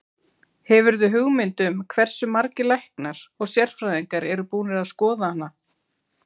Hefurðu hugmynd um hversu margir læknar og sérfræðingar eru búnir að skoða hana?